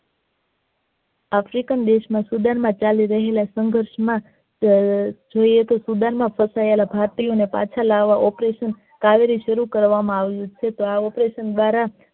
ના student અત્યારના સંઘર્ષ માં હમ જેતે student ના ફસાયેલા ભારતીયો એ પાછા લાવવા operation કાવેરી સારું કરવા માં આવેલું છે આ operation દ્વારા